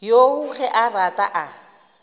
yoo ge a rata a